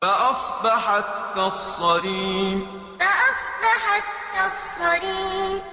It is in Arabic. فَأَصْبَحَتْ كَالصَّرِيمِ فَأَصْبَحَتْ كَالصَّرِيمِ